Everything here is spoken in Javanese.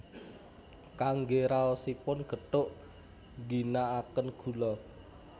Kangge raosipun gethuk ngginakaken gula